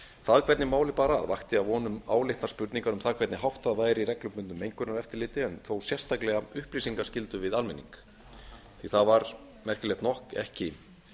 það hvernig málið bar að ekki að vonum áleitnar spurningar um það hvernig háttað væru reglubundnu mengunareftirliti en þó sérstaklega upplýsingaskyldu við almenning það var merkilegt nokk ekki